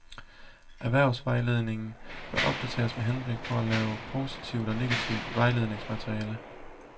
Erhvervsvejledningen bør opdateres med henblik på at lave positivt og negativt vejledningsmateriale.